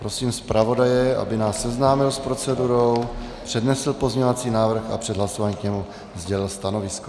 Prosím zpravodaje, aby nás seznámil s procedurou, přednesl pozměňovací návrh a před hlasováním k němu sdělil stanovisko.